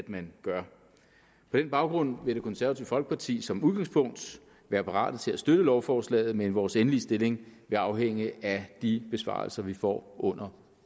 man gør på den baggrund vil det konservative folkeparti som udgangspunkt være parate til at støtte lovforslaget men vores endelige stillingtagen vil afhænge af de besvarelser vi får under